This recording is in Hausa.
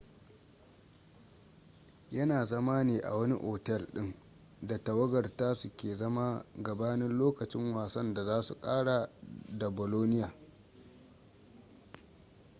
yana zama ne a wani otel din da tawagar tasu ke zama gabanin lokacin wasan da za su kara da bolonia